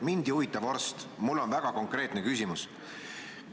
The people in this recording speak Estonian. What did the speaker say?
Mind ei huvita vorst, mul on väga konkreetne küsimus.